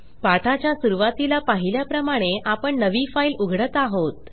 पाठाच्या सुरूवातीला पाहिल्याप्रमाणे आपण नवी फाईल उघडत आहोत